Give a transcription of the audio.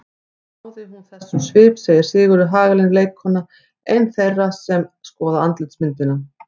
Svo hún náði þessum svip segir Sigríður Hagalín leikkona, ein þeirra sem skoða andlitsmyndina.